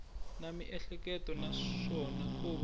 na miehleketo naswona ko va